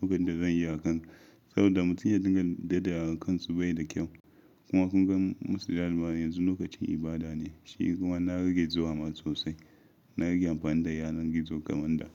lokacin da zan yi hakan saboda mutunta daga daidayan kansu bai da kyau. Kuma kun ga masu daliban yanzu lokacin ibada ne, shi kuma na rage zuwa ma sosai. Na rage amfani da yanar gizo kamar da.